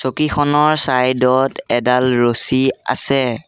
চকীখনৰ side ত এডাল ৰছী আছে।